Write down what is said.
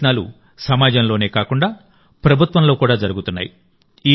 ఈ ప్రయత్నాలు సమాజంలోనే కాకుండా ప్రభుత్వంలో కూడా జరుగుతున్నాయి